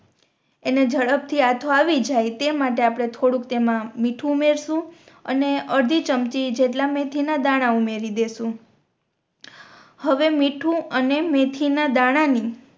એને ઝડપ થી આથો આવી જાય તે માટે આપણે થોડુક તેમા મીઠું ઉમેરશુ અને અરધી ચમચી જેટલા મેથી ના દાણા ઉમેરી દેસુ હવે મીઠું અને મેથી ના દાણા ને